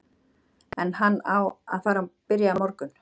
Er hann að fara að byrja á morgun?